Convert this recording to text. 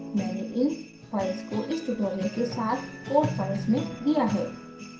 मैंने इन files को इस tutorial के साथ code files में दिया है